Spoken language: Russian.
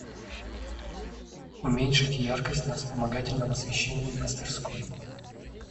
уменьшить яркость на вспомогательном освещении в мастерской